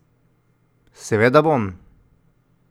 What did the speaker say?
Seveda bom!